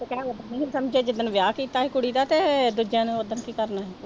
ਜਿੱਦਣ ਵਿਆਹ ਕੀਤਾ ਸੀ ਕੁੜੀ ਦਾ ਤੇ ਦੂਜਿਆਂ ਨੇ ਉੱਦਣ ਕੀ ਕਰਨਾ ਸੀ।